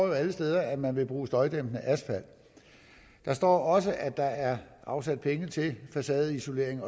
jo alle steder at man vil bruge støjdæmpende asfalt der står også at der er afsat penge til facadeisolering